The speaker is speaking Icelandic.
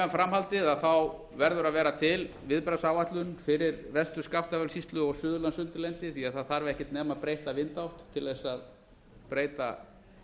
um framhaldið þá verður að vera til viðbragðsáætlun fyrir vestur skaftafellssýslu og suðurlandsundirlendið því að það þarf ekki nema breytta vindátt til að breyta